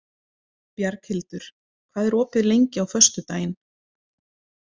Bjarghildur, hvað er opið lengi á föstudaginn?